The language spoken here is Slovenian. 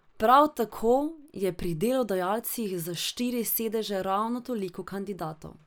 Prav tako je pri delodajalcih za štiri sedeže ravno toliko kandidatov.